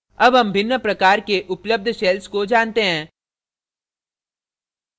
अब हम भिन्न प्रकार के उपलब्ध shells को जानते हैं